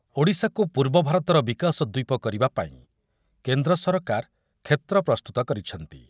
ଓଡ଼ିଶାକୁ ପୂର୍ବ ଭାରତର ବିକାଶ ଦ୍ୱୀପ କରିବାପାଇଁ କେନ୍ଦ୍ର ସରକାର କ୍ଷେତ୍ର ପ୍ରସ୍ତୁତ କରିଛନ୍ତି।